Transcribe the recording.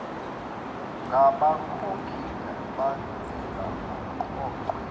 ngabakhokhi bentela eqoqwe